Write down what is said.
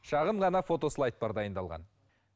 шағын ғана фотослайд бар дайындалған